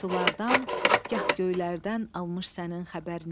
gah sulardan, gah göylərdən almış sənin xəbərini.